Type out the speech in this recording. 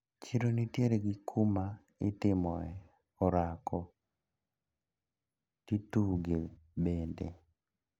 Chiro nitiere gi kuma itimoe orako tituge bende.